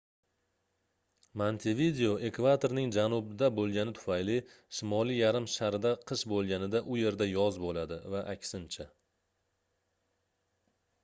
montevideo ekvatorning janubida boʻlgani tufayli shimoliy yarim sharda qish boʻlganida u yerda yoz boʻladi va aksincha